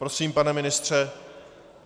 Prosím, pane ministře.